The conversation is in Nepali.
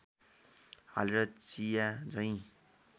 हालेर चिया झैँ